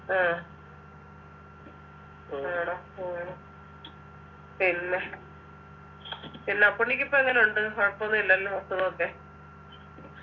ആഹ് ആണോ ആണോ പിന്നെ പിന്നെ അപ്പുണ്ണിക്കിപ്പോ എങ്ങനുണ്ട് കുഴപ്പൊന്നും ഇല്ലല്ലോ അസുഖക്കെ